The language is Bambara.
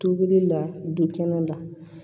Tobili la du kɛnɛ la